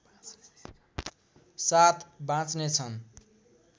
साथ बाँच्नेछन्